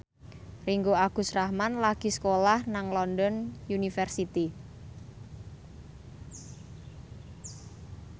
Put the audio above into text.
Ringgo Agus Rahman lagi sekolah nang London University